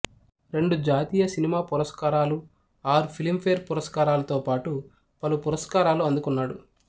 రెండు జాతీయ సినిమా పురస్కారాలు ఆరు ఫిల్మ్ ఫేర్ పురస్కారాలతో పాటు పలు పురస్కారాలు అందుకున్నాడు